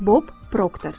Bob Proctor.